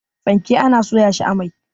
fanke ana soya shi a mai